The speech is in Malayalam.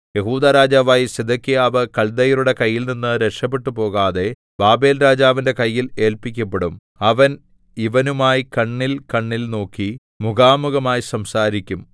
യെഹൂദാ രാജാവായ സിദെക്കീയാവ് കൽദയരുടെ കൈയിൽനിന്ന് രക്ഷപെട്ടുപോകാതെ ബാബേൽരാജാവിന്റെ കയ്യിൽ ഏല്പിക്കപ്പെടും അവൻ ഇവനുമായി കണ്ണിൽകണ്ണിൽ നോക്കി മുഖാമുഖമായി സംസാരിക്കും